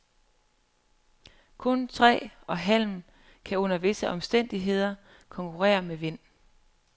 Kun træ og halm kan under visse omstændigheder konkurrere med vind.